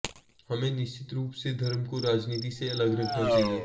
हमें निश्चित रूप से धर्म को राजनीति से अलग रखना चाहिए